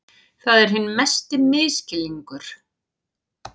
Það er hinn mesti misskilningur.